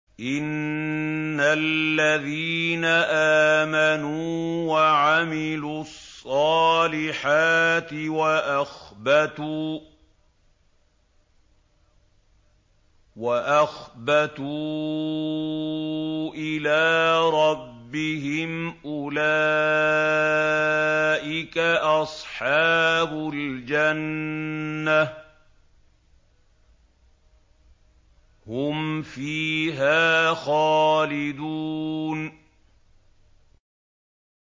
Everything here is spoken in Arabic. إِنَّ الَّذِينَ آمَنُوا وَعَمِلُوا الصَّالِحَاتِ وَأَخْبَتُوا إِلَىٰ رَبِّهِمْ أُولَٰئِكَ أَصْحَابُ الْجَنَّةِ ۖ هُمْ فِيهَا خَالِدُونَ